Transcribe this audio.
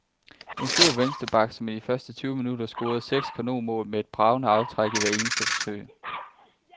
En stor venstre back, som i de første tyve minutter scorede seks kanonmål, med et bragende aftræk i hvert eneste forsøg.